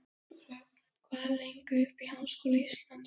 Rögn, hvað er lengi opið í Háskóla Íslands?